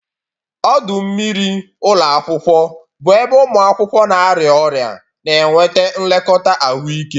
Ọdụ mmiri ụlọ akwụkwọ bụ ebe ụmụ akwụkwọ na-arịa ọrịa na-enweta nlekọta ahụike.